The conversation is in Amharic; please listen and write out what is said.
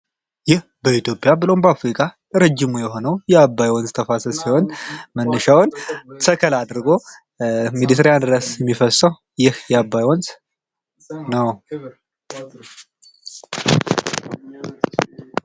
ይህ በኢትዮጵያ ብሎም በአፍሪካ ረጂሙ የሆነው የአባይ ወንዝ ተፋሰስ ሲሆን መነሻውን ሰከላ አድርጎ እስከ ኤርትራ ድረስ የሚፈሰው የአባይ ወንዝ ነው።